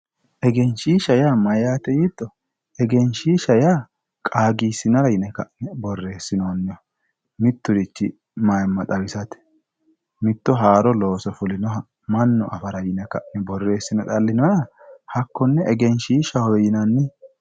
egenshiisha yaa mayyaate yiitto? egenshiisha yaa qaagisinara ka'ne borressinoonni mitturichi maaa xawisate mitto haaro looso fulinoha mannu afara yine ka'ne borreessine xa'linoonniha hakkone egenshiishahowe yinanni.